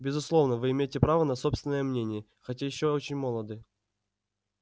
безусловно вы имеете право на собственное мнение хотя ещё очень молоды